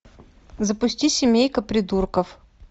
запусти семейка придурков